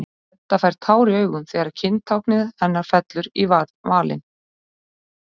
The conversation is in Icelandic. Edda fær tár í augun þegar kyntáknið hennar fellur í valinn.